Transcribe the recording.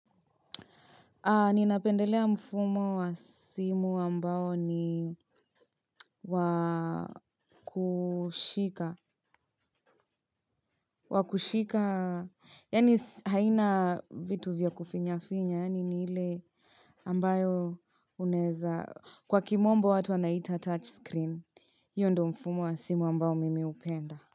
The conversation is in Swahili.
Ninapendelea mfumo wa simu ambao ni wa kushika. Wa kushika, yaani haina vitu vya kufinya-finya, yaani ni ile ambayo unaeza kwa kimombo watu wanaita touch screen. Hiyo ndio mfumo wa simu ambayo mimi hupenda.